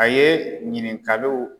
A ye ɲininkaluw